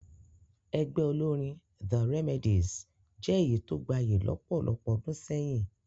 Ẹgbẹ́ olórín the Remedies jẹ́ èyí tó gbayì lọ́pọ̀lọpọ̀ ọdún sẹ́yìn